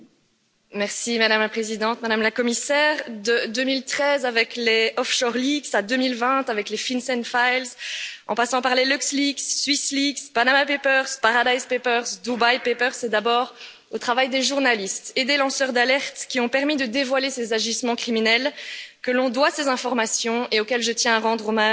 Madame la Présidente, Madame la Commissaire, de 2013 avec les à 2020 avec les en passant par les c'est d'abord au travail des journalistes et des lanceurs d'alerte, qui ont permis de dévoiler ces agissements criminels, que l'on doit ces informations et auxquels je tiens à rendre hommage aujourd'hui.